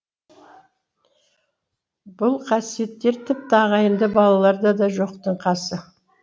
бұл қасиеттер тіпті ағайынды балаларда да жоқтың қасы